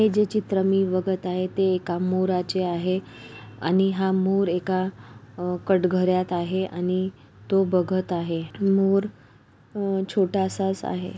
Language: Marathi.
हे जे चित्र मी बघत आहे ते एका मोराचे आहे आणि हा मोर एका अ एका कटगऱ्यात आहे आणि तो बघत आहे मोर हा छोटासास आहे.